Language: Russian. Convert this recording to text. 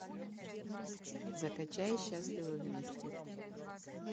закачай счастливы вместе